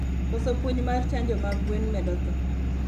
Koso puonj mar chanjo mag gwen medo thoo